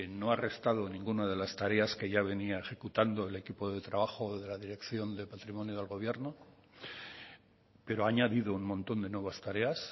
no ha restado ninguna de las tareas que ya venía ejecutando el equipo de trabajo de la dirección de patrimonio del gobierno pero ha añadido un montón de nuevas tareas